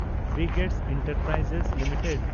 brigade Enterprise limited